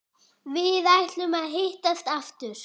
Við ætluðum að hittast aftur.